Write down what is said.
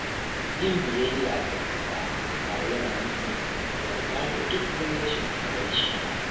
Yin biyayya ga “oga” ba yana nufin yarda da duk wani rashin adalci ba.